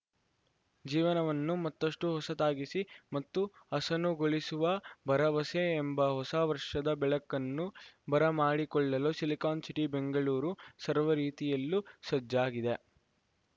ಜೀವನವನ್ನು ಮತ್ತಷ್ಟುಹೊಸತಾಗಿಸಿ ಮತ್ತು ಹಸನುಗೊಳಿಸುವ ಭರವಸೆ ಎಂಬ ಹೊಸ ವರ್ಷದ ಬೆಳಕನ್ನು ಬರಮಾಡಿಕೊಳ್ಳಲು ಸಿಲಿಕಾನ್‌ ಸಿಟಿ ಬೆಂಗಳೂರು ಸರ್ವ ರೀತಿಯಲ್ಲೂ ಸಜ್ಜಾಗಿದೆ